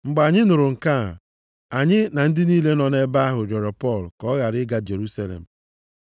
Mgbe anyị nụrụ nke a, anyị na ndị niile nọ nʼebe ahụ rịọrọ Pọl ka ọ ghara ịga Jerusalem.